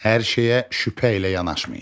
Hər şeyə şübhə ilə yanaşmayın.